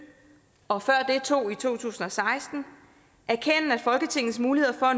og før det to i to tusind og seksten erkende at folketingets muligheder for